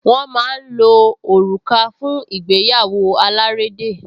Wọ́n máa ń lo òrùka fún ìgbéyàwó alárédè